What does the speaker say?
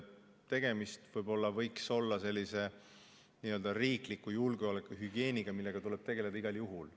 Tegemist on riikliku julgeolekuhügieeniga, millega tuleb tegelda igal juhul.